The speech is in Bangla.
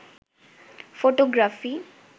ফোটোগ্রাফি